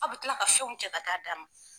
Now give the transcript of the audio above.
A' bɛ kila ka fɛnw cɛ ka taa d'a ma.